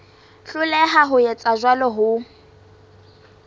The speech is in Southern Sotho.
hloleha ho etsa jwalo ho